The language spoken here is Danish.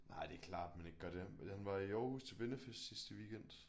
Nej det klart man ikke gør det men han var i Aarhus til vennefest sidste weekend